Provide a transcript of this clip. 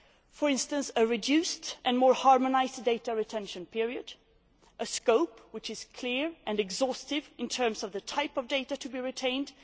For instance, a reduced and more harmonised data retention period a scope which is clear and exhaustive in terms of the type of data to be retained